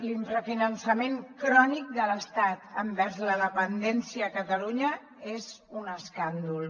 l’infrafinançament crònic de l’estat envers la dependència a catalunya és un escàndol